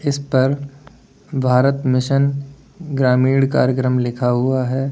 इस पर भारत मिशन ग्रामीण कार्यक्रम लिखा हुआ है।